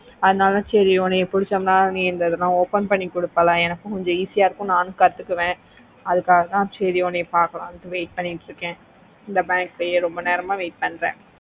அதுனால சேரி உன்ன புடிச்சாதா நீ இந்தத்தடவ open பண்ணி குடுப்பேளா எனக்கும் easy ஆஹ் இருக்கும்ல நானோ கட்டுக்குவ அதுக்காகத்தா சேரி உன்ன பகலாம்னு wait வெயிட் பண்ணிட்டு இருக்கேன் இந்த bank லய ரொம்பா நேரமா wait பண்ணிட்டு இருக்கேன்